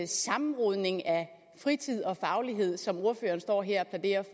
sammenrodning af fritid og faglighed som ordføreren står her